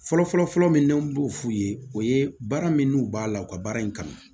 Fɔlɔfɔlɔ fɔlɔfɔlɔ min n'an b'o f'u ye o ye baara min n'u b'a la u ka baara in kanu